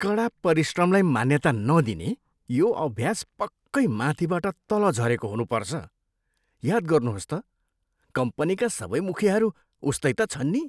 कडा परिश्रमलाई मान्यता नदिने यो अभ्यास पक्कै माथिबाट तल झरेको हुनुपर्छ। याद गर्नुहोस् त, कम्पनीका सबै मुखियाहरू उस्तै त छन् नि।